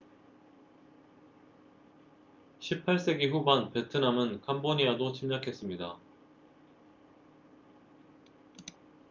18세기 후반 베트남은 캄보디아도 침략했습니다